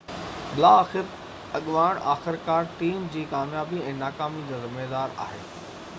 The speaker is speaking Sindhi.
بلاآخر اڳواڻ آخرڪار ٽيم جي ڪاميابي ۽ ناڪامي جو ذميوار آهي